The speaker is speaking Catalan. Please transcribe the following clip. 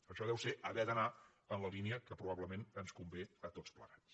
això deu ser haver d’anar en la línia que probablement ens convé a tots plegats